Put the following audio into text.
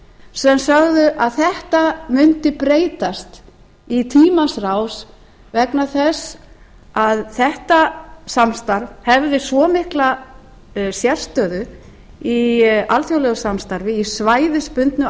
sem sagði að þetta mundi breytast í tímans rás vegna þess að þetta samstarf hefði svo mikla sérstöðu í alþjóðlegu samstarfi í svæðisbundnu